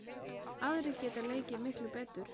Aðrir geta leikið miklu betur.